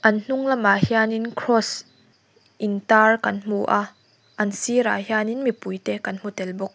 an hnung lamah hianin kraws intar kan hmu a an sirah hianin mipui te kan hmu tel bawk.